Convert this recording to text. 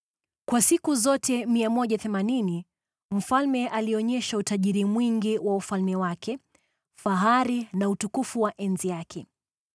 Kwa siku zote 180 mfalme alionyesha utajiri mwingi wa ufalme wake, fahari na utukufu wa enzi yake.